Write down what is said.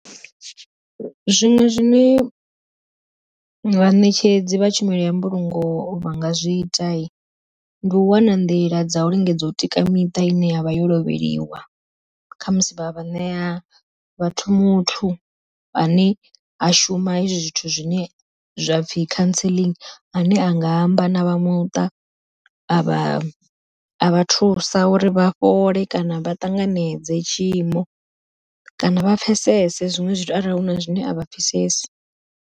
Zwiṅwe zwine vhaṋetshedzi vha tshumelo ya mbulungo vha nga zwi ita, ndi u wana nḓila dza u lingedza u tika miṱa ine yavha yo lovheliwa. Khamusi vha vha ṋea vhathu muthu ane a shuma hezwi zwithu zwine zwa pfhi counseling zwine a nga amba na vha muṱa a vha a vha thusa uri vha fhole kana vha ṱanganedze tshiimo, kana vha pfhesese zwiṅwe zwithu arali huna zwine a vha pfhesesi.